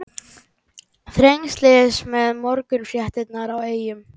Þrengslin með morgunfréttirnar í eyrunum.